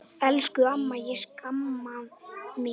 Elsku amma, ég sakna þín.